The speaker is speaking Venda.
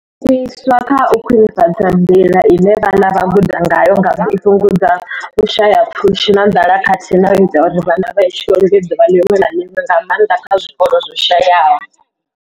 Iswa kha u khwinifhadza nḓila ine vhana vha guda ngayo ngauri i fhungudza vhushayapfushi na nḓala khathihi na u ita uri vhana vha ye tshikoloni ḓuvha ḽiṅwe na ḽiṅwe, nga maanḓa kha zwikolo zwo shayaho.